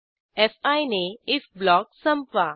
fee ने if block संपवा